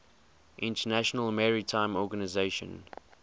international maritime organization